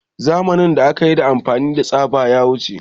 Zamanin da akayi amfani da tsaba ya wuce